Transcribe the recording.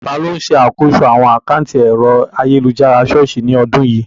Ta ló ń ṣàkóso àwọn àkántì ẹ̀rọ ayélujára ṣọ́ọ̀ṣì ní ọdún yìí?